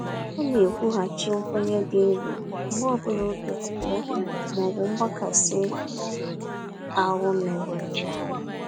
Ọ na-ekwughachi nkwenye dị nro mgbe ọ bụla obi abụọ ma ọ bụ mgbakasi ahụ mewere ya.